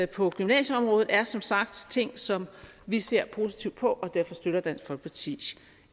på gymnasieområdet er som sagt ting som vi ser positivt på og derfor støtter dansk folkeparti